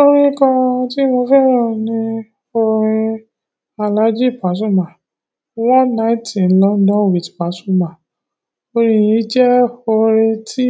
Orin kan tí mo fẹ́ràn ni orin Alhaji Pasuma: One Night in London with Pasuma. Orin yìí jẹ́ orin tí